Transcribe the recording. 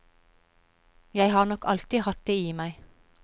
Jeg har nok alltid hatt det i meg.